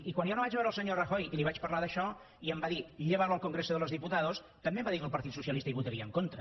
i quan jo vaig anar a veure al senyor rajoy i li vaig parlar d’això i em va dir llévalo al congreso de los diputados també em va dir que el partit socialista hi votaria en contra